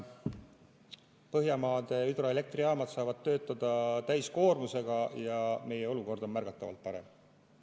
Põhjamaade hüdroelektrijaamad saavad siis töötada täiskoormusega ja meie olukord on märgatavalt parem.